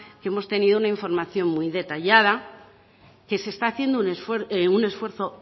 que hemos tenido una información muy detallada que se está haciendo un esfuerzo